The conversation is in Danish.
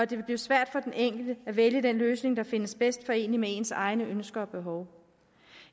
det vil blive svært for den enkelte at vælge den løsning der findes bedst forenelig med ens egne ønsker og behov